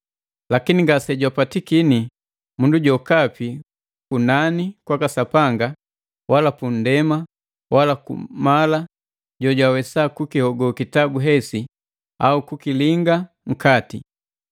Lakini ngase jwapatikini mundu jokapi kunani kwaka Sapanga, wala punndema wala kumala jo jwawesa kukihogo kitabu hesi au kukilinga nkati.